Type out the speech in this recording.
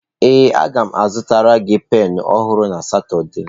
Ee a ga m azụtara gị penụ ọhụrụ na Satọde.